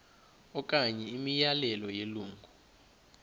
okanye imiyalelo yelungu